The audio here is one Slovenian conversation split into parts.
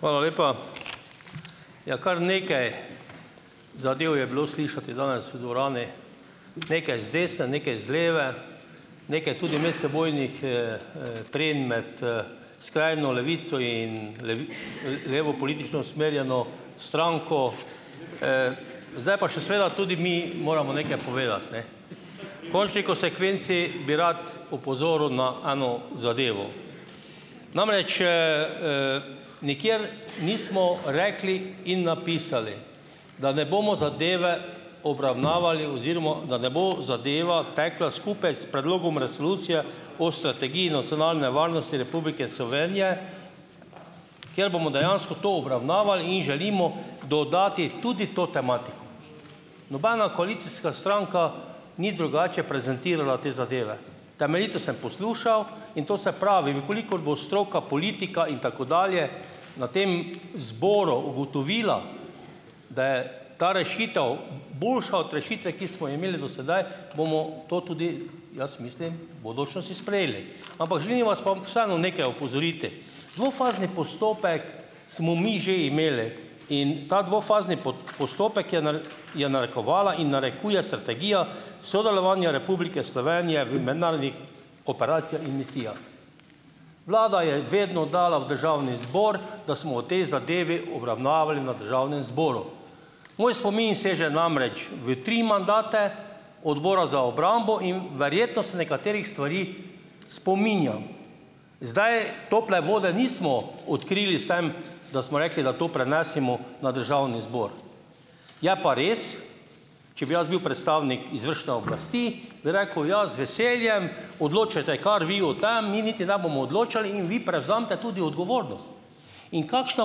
Hvala lepa. Ja, kar nekaj zadev je bilo slišati danes v dvorani. Nekaj z desne, nekaj z leve, nekaj tudi medsebojnih, trenj med, skrajno levico in levo politično usmerjeno stranko. Zdaj pa še seveda tudi mi moramo nekaj povedati, ne. V končni konsekvenci bi rad opozoril na eno zadevo, namreč, nikjer nismo rekli in napisali, da ne bomo zadeve obravnavali oziroma da ne bo zadeva tekla skupaj s predlogom Resolucije o strategiji nacionalne varnosti Republike Slovenije, ker bomo dejansko to obravnavali in želimo dodati tudi to tematiko. Nobena koalicijska stranka ni drugače prezentirala te zadeve. Temeljito sem poslušal in to se pravi, v kolikor bo stroka, politika in tako dalje na tem zboru ugotovila, da je ta rešitev boljša od rešitve, ki smo jo imeli do sedaj, bomo to tudi jaz mislim v bodočnosti sprejeli. Ampak želim vas pa vseeno nekaj opozoriti. Dvofazni postopek smo mi že imeli in ta dvofazni postopek je je narekovala in narekuje Strategija sodelovanja Republike Slovenije v mednarodnih operacijah in misijah. Vlada je vedno dala v državni zbor, da smo o tej zadevi obravnavali na državnem zboru. Moj spomin seže namreč v tri mandate Odbora za obrambo in verjetno se nekaterih stvari spominjam. Zdaj tople vode nismo odkrili s tem, da smo rekli, da to prenesimo na državni zbor. Je pa res, če bi jaz bil predstavnik izvršne oblasti, bi rekel: "Ja, z veseljem, odločajte kar vi o tem, mi niti ne bomo odločali in vi prevzemite tudi odgovornost." In kakšna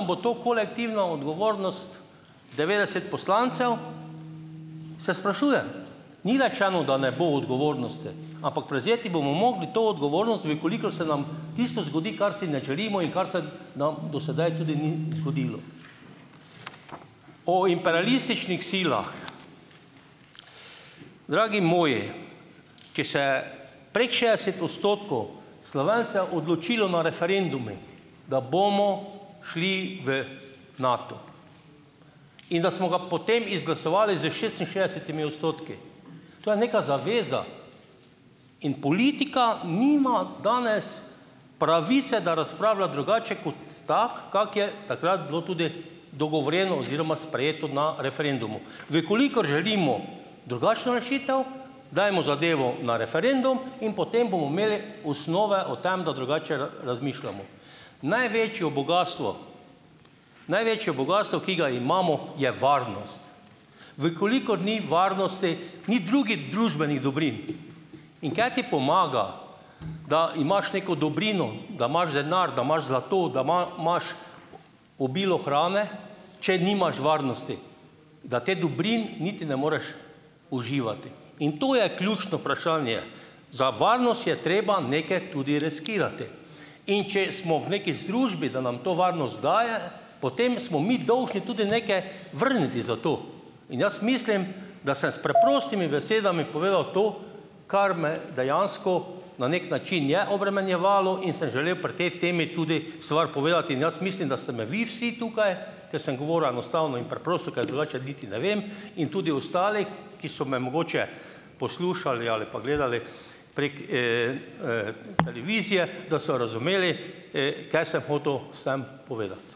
bo to kolektivna odgovornost devetdeset poslancev, se sprašuje, ni rečeno, da ne bo odgovornosti, ampak prevzeti bomo mogli to odgovornost, v kolikor se nam tisto zgodi, kar si ne želimo in kar se nam do sedaj tudi ni zgodilo. O imperialističnih silah, dragi moji, če se prek šestdeset odstotkov Slovencev odločilo na referendumi, da bomo šli v Nato in da smo ga potem izglasovali z šestinšestdesetimi odstotki. To je neka zaveza. In politika nima danes pravice, da razpravlja drugače kot tako, kako je takrat bilo tudi dogovorjeno oziroma sprejeto na referendumu. V kolikor želimo drugačno rešitev, dajmo zadevo na referendum in potem bomo imeli osnove o tem, da drugače razmišljamo. Največjo bogastvo, največje bogastvo, ki ga imamo, je varnost. V kolikor ni varnosti, ni drugih družbenih dobrin. In kaj ti pomaga, da imaš neko dobrino, da imaš denar, da imaš zlato, da imaš obilo hrane, če nimaš varnosti, da te dobrin niti ne moreš uživati. In to je ključno vprašanje. Za varnost je treba nekaj tudi riskirati in če smo v nekaj združbi, da nam to varnost daje, potem smo mi dolžni tudi nekaj vrniti za to. In jaz mislim, da sem s preprostimi besedami povedal to, kar me dejansko na neki način je obremenjevalo, in sem želel pri tej temi tudi stvar povedati in jaz mislim, da ste me vi vsi tukaj, ker sem govoril enostavno in preprosto, ker drugače niti ne vem, in tudi ostali, ki so me mogoče poslušali ali pa gledali prek, televizije, da so razumeli, kaj sem hotel s tem povedati.